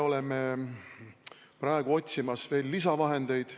Me otsime veel lisavahendeid.